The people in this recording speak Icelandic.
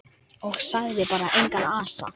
Og sagði bara: Engan asa.